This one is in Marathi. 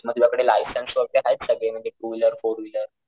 मी तुझ्या कडे लायसन्स वैगेरे आहेत सगळे म्हणजे टू व्हीलर फोर व्हीलर.